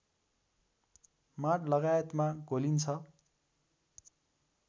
माँड लगायतमा घोलिन्छ